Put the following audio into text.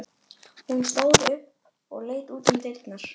Hún stóð upp og leit út um dyrnar.